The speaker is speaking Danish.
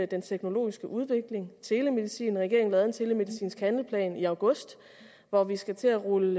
den teknologiske udvikling for telemedicin regeringen lavede en telemedicinsk handleplan i august og vi skal til at rulle